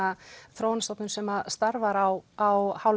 þróunarstofnun sem starfar á á